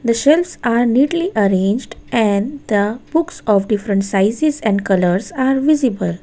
The shelves are neatly arranged and the books of different sizes and colours are visible.